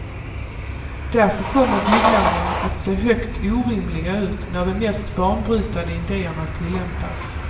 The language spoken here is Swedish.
Därför kommer byggnaderna att se högst orimliga ut när de mest banbrytande ideerna tillämpas.